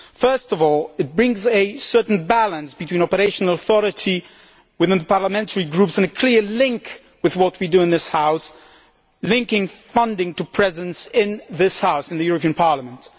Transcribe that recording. First of all, it brings a certain balance between operational authority within the parliamentary groups and a clear link with what we do in this House, linking funding to presence in this House in the European Parliament.